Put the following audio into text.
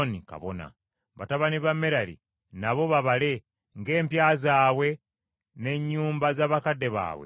“Batabani ba Merali nabo babale ng’empya zaabwe n’ennyumba z’abakadde baabwe bwe ziri.